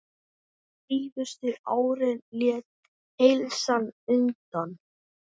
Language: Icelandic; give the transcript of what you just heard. Síðustu árin lét heilsan undan.